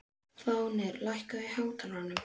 Fáfnir, lækkaðu í hátalaranum.